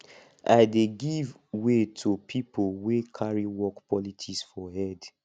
i dey give way to pipo way carry work politics for head